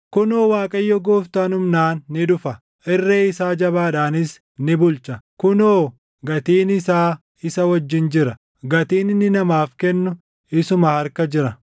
Kunoo, Waaqayyo Gooftaan humnaan ni dhufa; irreen isaa jabaadhaanis ni bulcha. Kunoo, gatiin isaa isa wajjin jira; gatiin inni namaaf kennu isuma harka jira.